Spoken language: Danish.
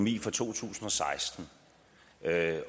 i to tusind